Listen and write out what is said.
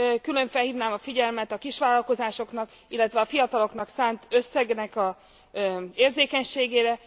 Külön felhívnám a figyelmet a kisvállalkozásoknak, illetve a fiataloknak szánt összegnek az érzékenységére.